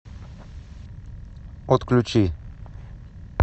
отключи